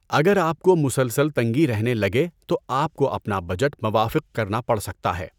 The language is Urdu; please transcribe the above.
اگر آپ کو مسلسل تنگی رہنے لگے تو آپ کو اپنا بجٹ موافق کرنا پڑ سکتا ہے۔